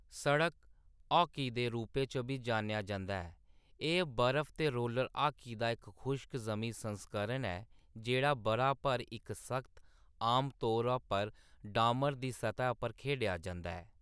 सड़क हाकी दे रूपै च बी जानेआ जंदा ऐ, एह्‌‌ बर्फ ते रोलर हाकी दा इक खुश्क-जमीं संस्करण ऐ जेह्‌‌ड़ा बʼरा भर इक सख्त, आमतौर पर डामर दी सतह् पर खेढेआ जंदा ऐ।